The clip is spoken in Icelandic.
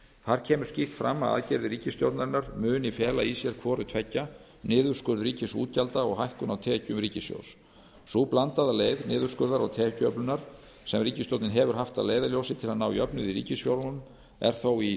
þar kemur skýrt fram að aðgerðir ríkisstjórnarinnar muni fela í sér hvort tveggja niðurskurð ríkisútgjalda og hækkun á tekjum ríkissjóðs sú blandaða leið niðurskurðar og tekjuöflunar sem ríkisstjórnin hefur haft að leiðarljósi til að ná jöfnuði í ríkisfjármálum er þó í